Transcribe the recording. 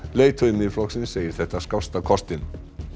leiðtogi Miðflokksins segir þetta skásta kostinn